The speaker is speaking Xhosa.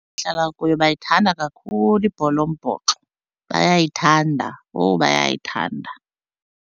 kuyo bayithanda kakhulu ibhola yombhoxo. Bayayithanda, owu bayayithanda.